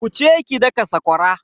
Wuce ki daka sakwara.